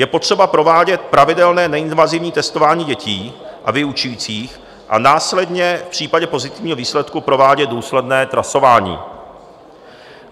Je potřeba provádět pravidelné neinvazivní testování dětí a vyučujících a následně v případě pozitivního výsledku provádět důsledné trasování.